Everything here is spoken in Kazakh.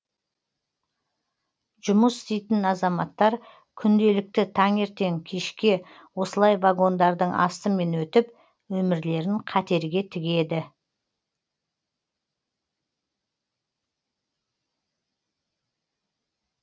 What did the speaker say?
жұмыс істейтін азаматтар күнделікті таңертең кешке осылай вагондардың астымен өтіп өмірлерін қатерге тігеді